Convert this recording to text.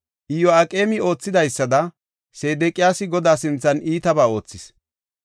Iyo7aqeemi oothidaysada, Sedeqiyaasi Godaa sinthan iitaba oothis.